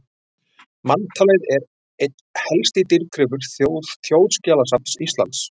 Manntalið er einn helsti dýrgripur Þjóðskjalasafns Íslands.